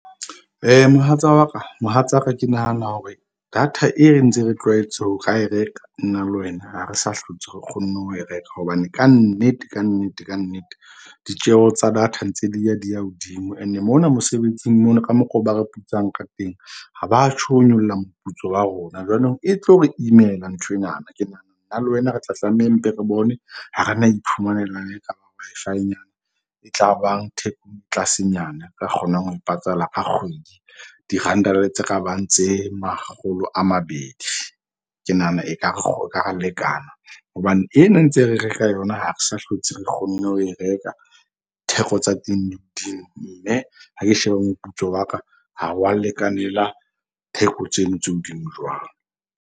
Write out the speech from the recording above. Mohatsa wa ka, mohatsa ka ke nahana hore data e re ntse re tlwaetse ho re ra e reka, nna le wena re sa hlotse, re kgonne ho e reka. Hobane kannete kannete kannete ditjeho tsa data ntse di ya di ya hodimo and-e mona mosebetsing mona ka mokgwa oo ba re putsang ka teng. Ha batjho ho nyolla moputso wa rona jwanong, e tlo re imela nthwenana. Ke nahana nna le wena re tla tlameha mpe re bone ha rena iphumanelang Wi-Fi-nyana e tlabang tlasenyana. Ka kgonang ho e patala ka kgwedi, diranta le tse kabang tse makgolo a mabedi. Ke nahana ekare re e ka ra lekana. Hobane ena ntse re reka yona ha re sa hlotse, re kgonne ho e reka. Theko tsa teng di hodimo mme ha ke sheba moputso wa ka ha wa lekanela theko tseno tse hodimo jwalo.